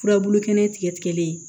Furabulu kɛnɛ tigɛlen